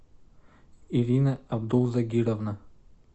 ирина абдул загировна